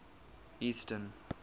eastern